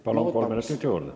Palun, kolm minutit juurde!